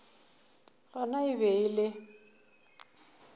gona e be e le